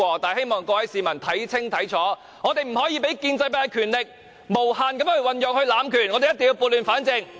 但是，希望各位市民看清楚，我們不可以讓建制派的權力無限運用、讓建制派濫權，我們一定要撥亂反正。